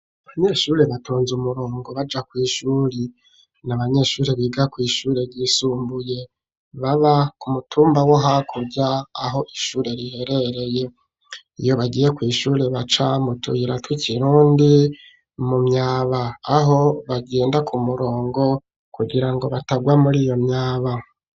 Abanyeshure batonze umurongo baja kw'ishure, n' abanyeshure biga kw'ishure ryisumbuye baba ku mutumba wo hakurya aho ishure riherereye, iyo bagiye kw'ishure baca mutuyira twakirundi mu myaba aho bagenda ku murongo kugira ngo batagwa mur'iyo myaba.